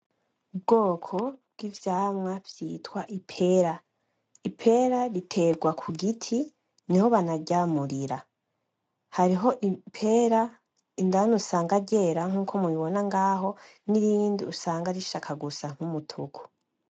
Ubwoko bw'ivyamwa vyitwa ipera, ipera ritegwa kugiti niho banaryamurira, hariho ipera indani usanga ryera nkuko mubibona ngaho, n'irindi usanga rishaka gusa n'umutuku.